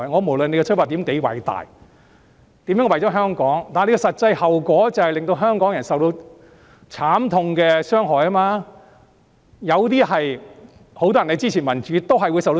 無論他們的出發點多偉大，無論他們表示如何為了香港好，實際後果都是令香港人受到慘痛的傷害，很多支持民主的人也會受到傷害。